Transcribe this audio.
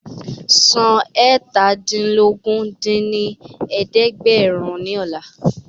San eétàdínlógún dín ní ẹ̀ẹ́dẹ́gbẹ́rún ní ọ̀la